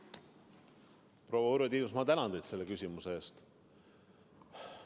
Proua Urve Tiidus, ma tänan teid selle küsimuse eest!